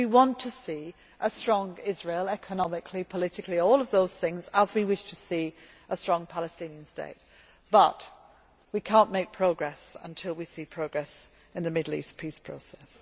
We want to see a strong Israel economically, politically, all of those things as we wish to see a strong Palestinian state, but we cannot make progress until we see progress in the Middle East peace process.